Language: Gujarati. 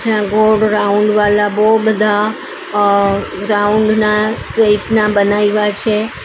આ ગોળ રાઉન્ડ વાલા બઉ બધા રાઉન્ડ ના શેઇપ ના બનાયવા છે.